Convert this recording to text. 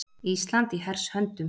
Ísland í hers höndum.